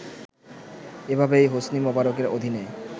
এভাবেই হোসনি মোবারকের অধীনে